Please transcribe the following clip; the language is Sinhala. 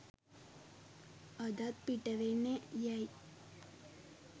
අදත් පිටවෙන්නේ යැයි